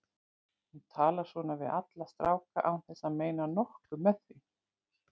Hún talar svona við alla stráka án þess að meina nokkuð með því.